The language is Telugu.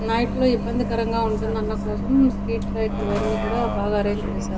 నైట్ లో ఇబ్బందికరంగా ఉంటుంది అన్న కోసము స్ట్రీట్ లైట్స్ అవన్నీ కూడా బాగా అరేంజ్ చేశారు.